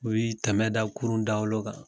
U yi tɛmɛ da kurun dagolo kan